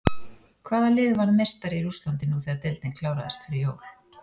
Hvaða lið varð meistari í Rússlandi nú þegar deildin kláraðist fyrir jól?